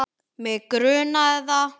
Mig grunaði það!